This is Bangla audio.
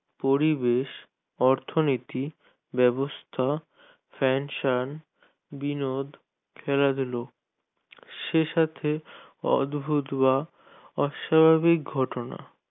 পরিবেশ অর্থনীতি ব্যবস্থা ফ্যাশন বিনোদন খেলাধুলো সে সাথে অদ্ভুত বা অস্বাভাবিক ঘটনা